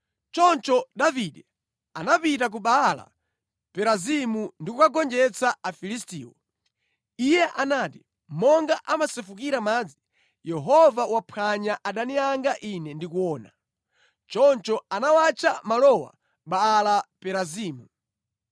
Choncho Davide anapita ku Baala-Perazimu ndi kugonjetsa Afilistiwo. Iye anati, “Monga amasefukira madzi, Yehova waphwanya adani anga ine ndikuona.” Choncho anawatcha malowa Baala Perazimu.